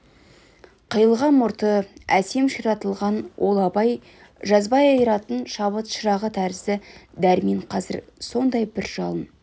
қиылған мұрты әсем ширатылған ол абай жазбай айыратын шабыт шырағы тәрізді дәрмен қазір сондай бір жалын